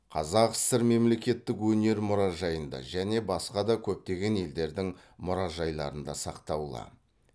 қазақ сср мемлекеттік өнер мұражайында және де басқа көптеген елдердің мұражайларында сақтаулы